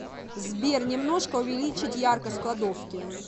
сбер немножко увеличить яркость в кладовке